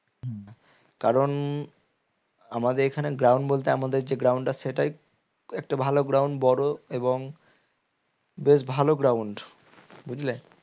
কারণ আমাদের এখানে ground বলতে আমাদের যে ground আছে সেটাই একটা ভালো ground বড়ো এবং বেশ ভালো ground বুঝলে?